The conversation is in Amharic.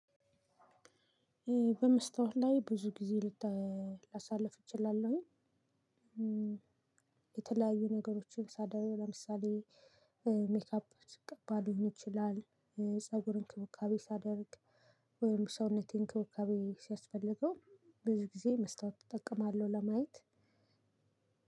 በመስተዋል ላይ ብዙ ጊዜ ልታ ላሳልፍ እችላለሁኝ። የተለያዩ ነገሮችን ሳደርግ ለምሳሌ ሜካፕ ስቀባ ሊሆን ይችላል። ፀጉር እንክብካቤ ሳደርግ ወይም ሰውነቴን እንክብካቤ ሲያስፈልገው በዚህ ጊዜ መስታወት እጠቀማለሁ። ለማየት